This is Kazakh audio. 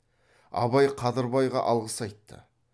абай қадырбайға алғыс айтты